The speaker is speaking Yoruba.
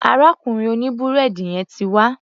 Arákùnrin òní búrẹ́dì yẹn ti wá.